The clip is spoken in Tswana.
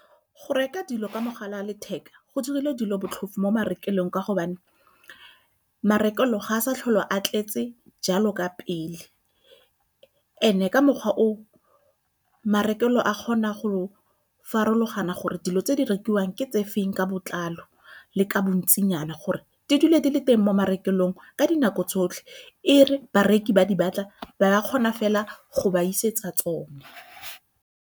Go reka dilo ka mogala wa letheka go dirile dilo botlhofo marekelong ka gobane marekelo ga a sa tlhole a tletse jalo ka pele. And-e ka mokgwa o marekelo a kgona go farologana gore dilo tse di rekiwang ke tse feng ka botlalo le ka bontsinyana gore di dule di le teng mo marekelong ka dinako tsotlhe, e re bareki ba di batla ba kgona fela go ba isetsa tsone.